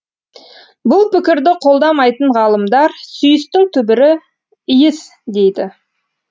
бұл пікірді қолдамайтын ғалымдар сүйістің түбірі иіс дейді